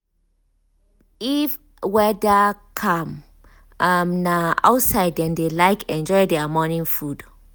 if weather um calm um na outside dem dey like enjoy their morning food.